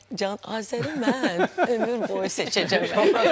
Can, Azəri mən ömür boyu seçəcəm.